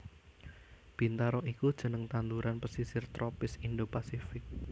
Bintaro iku jeneng tanduran pesisir tropis Indo Pasifik